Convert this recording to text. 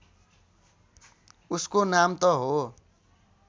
उसको नाम त हो